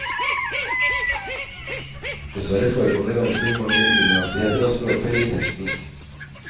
Dessverre forekommer det ganske mange unøyaktigheter og språkfeil i teksten.